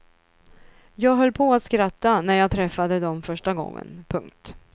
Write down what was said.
Jag höll på att skratta när jag träffade dom första gången. punkt